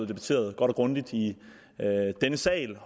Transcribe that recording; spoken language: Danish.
debatteret godt og grundigt i denne sal og